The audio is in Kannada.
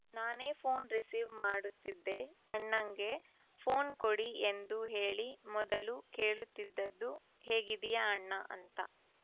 ನಾನೇ ಫೋನ್‌ ರಿಸೀವ್‌ ಮಾಡುತ್ತಿದ್ದೆ ಅಣ್ಣಂಗೆ ಫೋನ್‌ ಕೊಡಿ ಎಂದು ಹೇಳಿ ಮೊದಲು ಕೇಳುತ್ತಿದ್ದದ್ದು ಹೇಗಿದ್ದೀಯಣ್ಣ ಅಂತ